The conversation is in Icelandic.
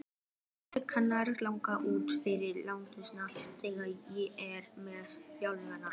Alla leikmenn langar út fyrir landsteinana, hvernig er með þjálfarann?